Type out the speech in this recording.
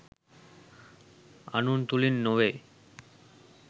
අනුන් තුළින් නෙවෙයි.